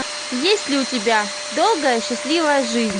есть ли у тебя долгая счастливая жизнь